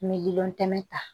Miliyɔn kɛmɛ ta